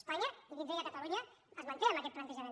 espanya i dins d’ella catalunya es manté en aquest plantejament